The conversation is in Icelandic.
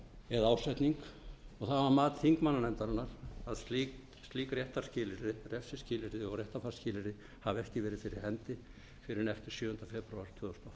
eða ásetning og það var mat þingmannanefndarinnar að slík refsiskilyrði og réttarfarsskilyrði hafi ekki verið fyrir hendi fyrr en eftir sjöunda febrúar tvö þúsund og átta